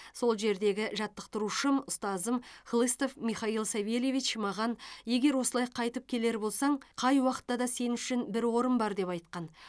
ол жердегі жаттықтырушым ұстазым хлыстов михаил савельевич маған егер осылай қайтып келер болсаң қай уақытта да сен үшін бір орын бар деп айтқан